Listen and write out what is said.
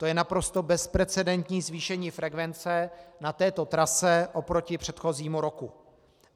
To je naprosto bezprecedentní zvýšení frekvence na této trase oproti předchozímu roku.